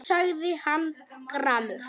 sagði hann gramur.